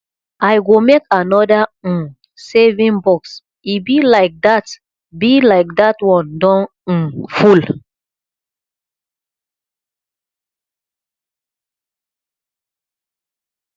i go make another um saving box e be like dat be like dat one don um full